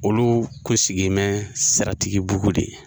Olu kun sigi in bɛ Siratigibugu de